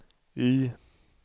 Y